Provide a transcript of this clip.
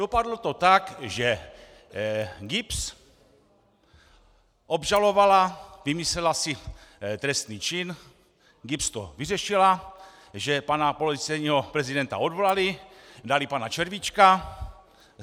Dopadlo to tak, že GIBS obžalovala, vymyslela si trestný čin, GIBS to vyřešila, že pana policejního prezidenta odvolali, dali pana Červíčka.